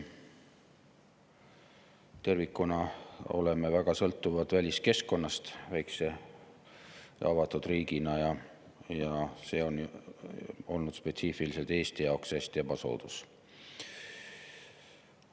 Tervikuna oleme väikese ja avatud riigina väga sõltuvad väliskeskkonnast, ja see on olnud spetsiifiliselt Eesti jaoks hästi ebasoodus.